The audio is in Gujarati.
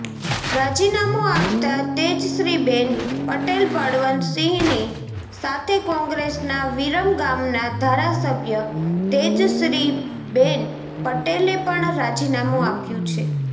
રાજીનામું આપતા તેજશ્રીબેન પટેલબળવંત સિંહની સાથે કોંગ્રેસના વિરમગામના ધારાસભ્ય તેજશ્રીબેન પટેલે પણ રાજીનામું આપ્યું છે